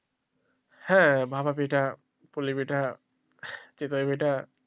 হ্যাঁ ভাপা পিঠা পুলি পিঠা চিতই পিঠা